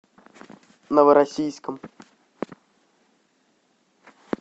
новороссийском